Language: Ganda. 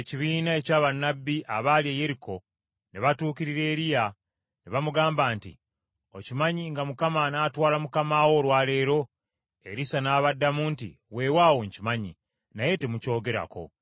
Awo ekibiina ekya bannabbi abaali e Yeriko ne batuukirira Erisa ne bamugamba nti, “Okimanyi nga Mukama anaatwala mukama wo olwa leero?” Erisa n’abaddamu nti, “Weewaawo nkimanyi, naye temukyogerako.”